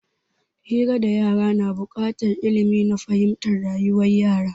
Hira da yara na bukatar ilmi na fahimtar rayuwar yara